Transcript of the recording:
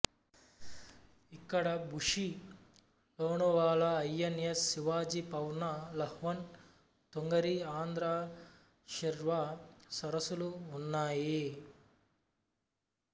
ఇక్కడ Bhushi Lonavala I N S Shivaji Pavna Valvan Tungarli Andhra Shirota సరసులు ఉన్నాయి